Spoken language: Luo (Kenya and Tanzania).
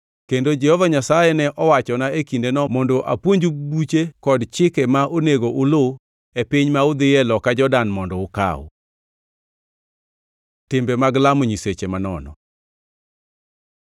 Kendo Jehova Nyasaye ne owachona e kindeno mondo apuonju buche kod chike ma onego uluw e piny ma udhiye loka Jordan mondo ukaw. Timbe mag lamo nyiseche manono